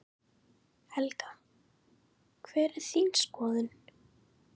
Helga: Hver er þín skoðun?